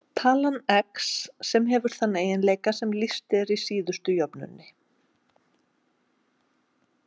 Talan x sem hefur þann eiginleika sem lýst er í síðustu jöfnunni.